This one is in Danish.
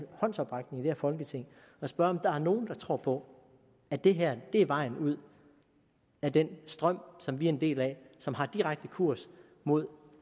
håndsoprækning i det her folketing og spørge om der er nogen der tror på at det her er vejen ud af den strøm som vi er en del af og som har direkte kurs mod